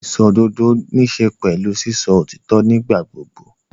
Ìsòdodo níṣe pẹ̀lú sísọ òtítọ́ nígbà gbogbo.